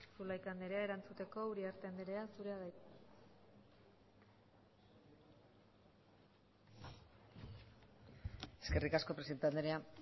zulaika andrea erantzuteko uriarte andrea zurea da hitza eskerrik asko presidente andrea